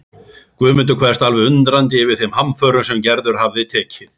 Guðmundur kveðst alveg undrandi yfir þeim framförum sem Gerður hafi tekið.